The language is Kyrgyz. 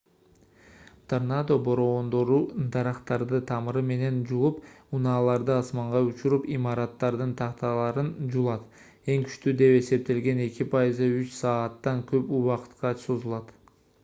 торнадо бороондору дарактарды тамыры менен жулуп унааларды асманга учуруп имараттардын такталарын жулат эң күчтүү деп эсептелген эки пайызы үч сааттан көп убакытка созулат